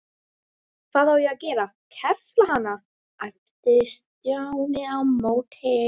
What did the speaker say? Hvað á ég að gera, kefla hana? æpti Stjáni á móti.